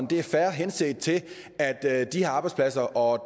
det er fair henset til de her arbejdspladser og at